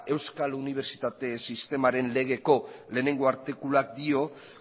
euskal unibertsitate sistemaren legeko lehenengo artikuluak dio